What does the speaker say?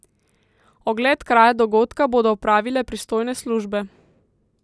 Ogled kraja dogodka bodo opravile pristojne službe.